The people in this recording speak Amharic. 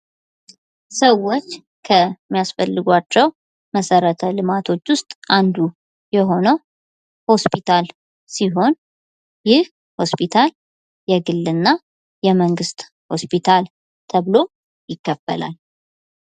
ሰዎች ከሚያስፈልገዋቸው መሰረተ ልማቶች ውስጥ አንዱ የሆነው ሆስፒታል ሲሆን ይህ ሆስፒታል የግልና የመንግስት ሆስፒታል ተብሎ ይከፈላል።